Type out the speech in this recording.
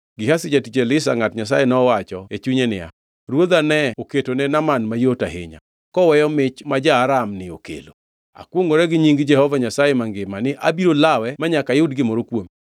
Gehazi jatich Elisha ngʼat Nyasaye nowacho e chunye niya, Ruodha ne oketone Naaman mayot ahinya, koweyo mich ma ja-Aram-ni okelo. Akwongʼora gi nying Jehova Nyasaye mangima ni abiro lawe manyaka ayud gimoro kuome.